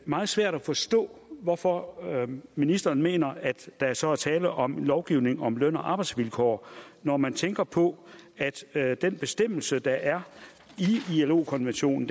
meget svært at forstå hvorfor ministeren mener at der så er tale om lovgivning om løn og arbejdsvilkår når man tænker på at den bestemmelse der er i ilo konventionen